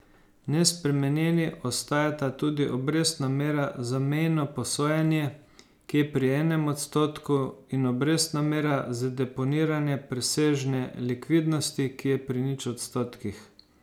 Nespremenjeni ostajata tudi obrestna mera za mejno posojanje, ki je pri enem odstotku, in obrestna mera za deponiranje presežne likvidnosti, ki je pri nič odstotkih.